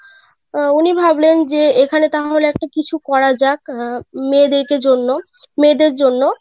অ্যাঁ উনি ভাবলেন যে এখানে তাহলে একটা কিছু করা যাকআহ মেয়েদেরকে জন্য মেয়েদের জন্য.